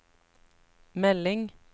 melding